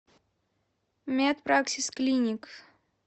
медпраксис клиник